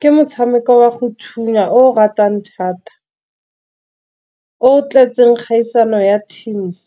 ke motshameko wa go thunya o ratwang thata o tletseng kgaisano ya teams.